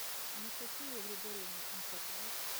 анастасии григорьевне антроповой